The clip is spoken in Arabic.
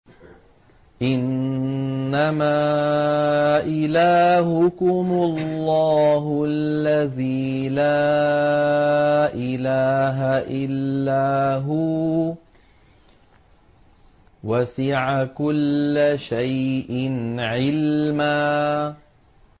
إِنَّمَا إِلَٰهُكُمُ اللَّهُ الَّذِي لَا إِلَٰهَ إِلَّا هُوَ ۚ وَسِعَ كُلَّ شَيْءٍ عِلْمًا